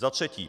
Za třetí.